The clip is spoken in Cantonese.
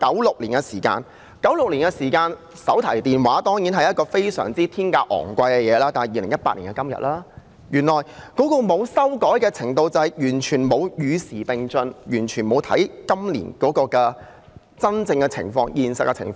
回看1996年的時候，手提電話是很昂貴的東西，但今天已經是2018年，綜援從來沒有修改，便等於完全沒有與時並進，完全沒有看今年真正的情況、現實的情況。